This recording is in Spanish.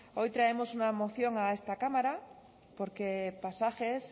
hoy traemos una moción a esta cámara porque pasajes